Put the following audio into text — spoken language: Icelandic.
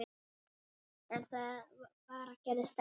En það bara gerðist ekki.